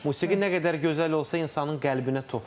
Musiqi nə qədər gözəl olsa insanın qəlbinə toxunur.